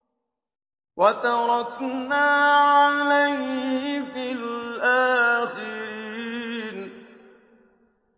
وَتَرَكْنَا عَلَيْهِ فِي الْآخِرِينَ